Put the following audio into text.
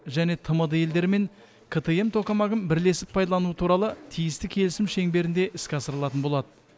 және тмд елдерімен ктм токамагын бірлесіп пайдалану туралы тиісті келісім шеңберінде іске асырылатын болады